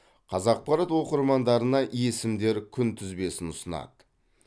қазақпарат оқырмандарына есімдер күнтізбесін ұсынады